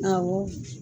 Awɔ